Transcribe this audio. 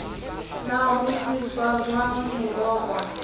na ho sehwajwang ho rokwa